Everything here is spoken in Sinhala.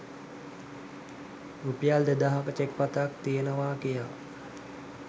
රුපියල් දෙදහක චෙක්පතක් තියෙනවා කියා